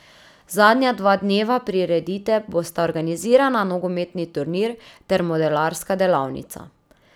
Zadnja dva dneva priredite bosta organizirana nogometni turnir ter modelarska delavnica.